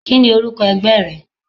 Kíni orúkọ ẹgbẹ́ rẹ?